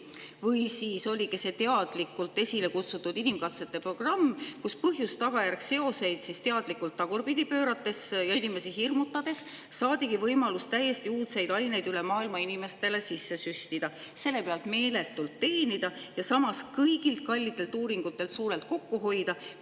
Või oligi see teadlikult esile kutsutud inimkatsete programm, mille põhjus-tagajärg seoseid teadlikult tagurpidi pöörates ja inimesi hirmutades saadigi võimalus täiesti uudseid aineid üle maailma inimestele sisse süstida, selle pealt meeletult teenida ja samas kõigilt kallitelt uuringutelt suurelt kokku hoida?